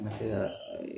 Ma se ka